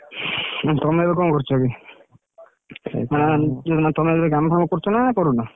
ତମେ ଏବେ କଣ କରୁଛ କି? ତମେ ଏବେ କାମ ଫାମ କରୁଛ ନାଁ କରୁନ?